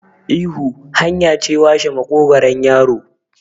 ihu hanya ce washe maƙogaron yaro